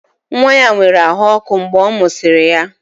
Nwa ya nwere ahụ ọkụ mgbe a mụsịrị ya